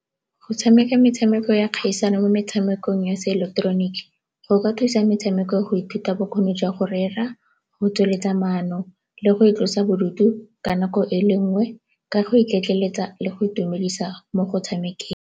Go tshameka metshameko ya kgaisano mo metshamekong ya seileketeroniki go ka thusa metshameko go ithuta bokgoni jwa go rera, go tsweletsa maano le go itlosa bodutu ka nako e le nngwe ka go iketleletsa le go itumedisa mo go tshamekeng.